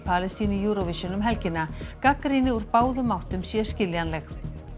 Palestínu í Eurovision um helgina gagnrýni úr báðum áttum sé skiljanleg